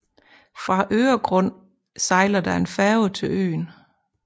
Fra Öregrund sejler der en færge til øen